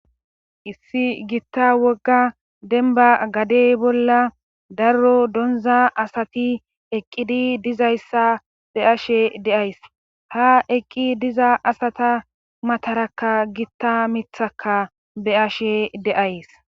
issi gitta wogga denba gadey bolla daro donza asati eqqidi dizayssa be ashe deays ha eqqi diza asata matarakka gitta mithakka be ashe deays